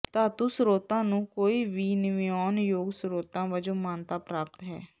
ਧਾਤੂ ਸਰੋਤਾਂ ਨੂੰ ਕੋਈ ਵੀ ਨਵਿਆਉਣ ਯੋਗ ਸਰੋਤਾਂ ਵਜੋਂ ਮਾਨਤਾ ਪ੍ਰਾਪਤ ਹੈ